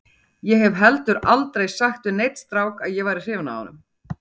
Ég hef heldur aldrei sagt við neinn strák að ég væri hrifin af honum.